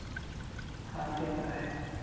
हां ते तर आहे.